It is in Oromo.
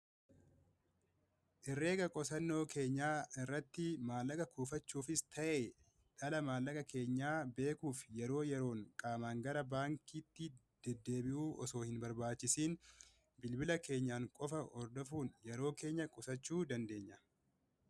Herrega qusannoo keenya irratti maallaqa kuufachuufi ta'ee dhala maallaqa keenya beekuuf yeroo yeroon qaamaan gara baankiitti deddeebi'uu osoo hin barbaachisiin bilbila keenyaan qofa hordofuun yeroo keenya qusachuu dandeenya.